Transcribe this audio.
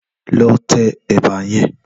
Lò tè èbà yèn